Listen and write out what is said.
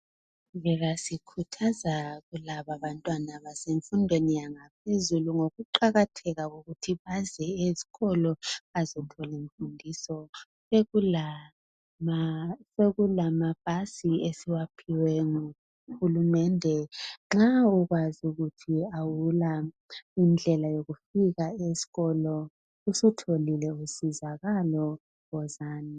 siqhubeka sikhuthaza kulaba abantwana abasemfundweni yaphezulu ngokuqakatheka kokuthi baze esikolo bazethola imfundiso sekulamabhasi esiwaphiwe ngu hulumende nxa ukwazi ukuthi awula indlela yokufika esikolo usutholile usizakalo wozani